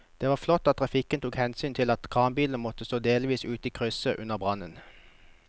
Det var flott at trafikken tok hensyn til at kranbilen måtte stå delvis ute i krysset under brannen.